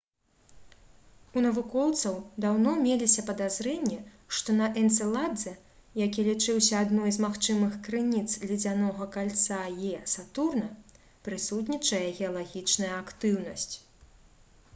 у навукоўцаў даўно меліся падазрэнні што на энцэладзе які лічыўся адной з магчымых крыніц ледзянога кальца «е» сатурна прысутнічае геалагічная актыўнасць